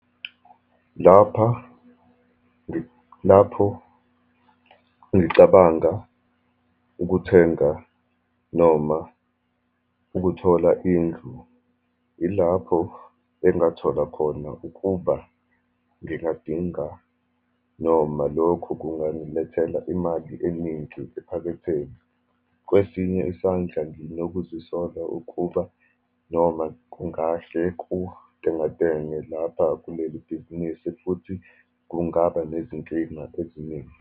Lapha, lapho ngicabanga ukuthenga, noma ukuthola indlu, ilapho engathola khona ukuba ngingadinga, noma lokhu kungangilethela imali eningi ephaketheni. Kwesinye isandla, nginokuzisola ukuba noma kungahle kutengatenge lapha kuleli bhizinisi, futhi kungaba nezinkinga eziningi.